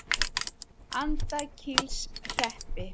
Andakílshreppi